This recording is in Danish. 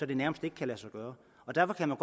det nærmest ikke kan lade sig gøre derfor kan man